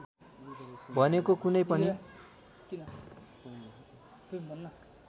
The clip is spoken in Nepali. भनेको कुनै पनि